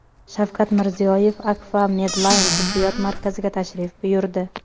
Shavkat Mirziyoyev Akfa Medline tibbiyot markaziga tashrif buyurdi.